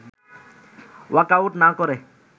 walkout না করে